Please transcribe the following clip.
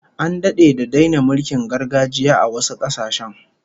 An dade da daina mulkin gargajiya a wasu kasashen